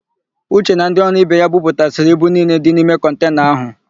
Uche na ndị ọrụ ibe ya buputasịrị ibu niile dị n'ime kọntena áhụ̀.